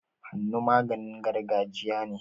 Hannu maganin gargajiya ne.